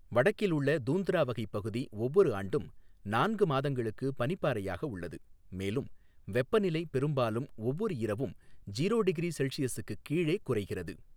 வடக்கில் உள்ள தூந்த்ரா வகை பகுதி ஒவ்வொரு ஆண்டும் நான்கு மாதங்களுக்கு பனிப்பாறையாக உள்ளது, மேலும் வெப்பநிலை பெரும்பாலும் ஒவ்வொரு இரவும் ஜீரோ டிகிரி செல்ஷியஸுக்கு கீழே குறைகிறது.